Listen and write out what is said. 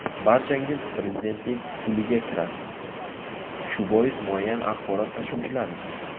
Barchangiz prezidentlik puliga kirasiz, shu bois muayyan axborot tashuvchilarisiz.